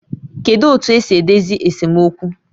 Kedu otu esi edozi esemokwu?